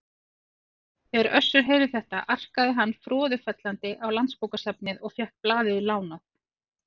Þegar Össur heyrði þetta arkaði hann froðufellandi á Landsbókasafnið og fékk blaðið lánað.